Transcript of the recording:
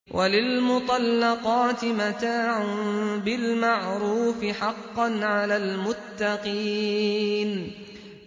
وَلِلْمُطَلَّقَاتِ مَتَاعٌ بِالْمَعْرُوفِ ۖ حَقًّا عَلَى الْمُتَّقِينَ